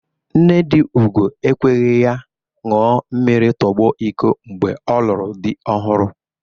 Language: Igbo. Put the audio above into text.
Nne dị Ugo ekweghi ya ṅua mmiri tụgbọ iko mgbe ọ lụrụ dị ọhụrụ.